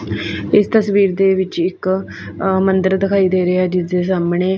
ਇਸ ਤਸਵੀਰ ਦੇ ਵਿੱਚ ਇੱਕ ਅ ਮੰਦਿਰ ਦਿਖਾਈ ਦੇ ਰਿਹਾ ਹੈ ਜਿਸਦੇ ਸਾਹਮਣੇ --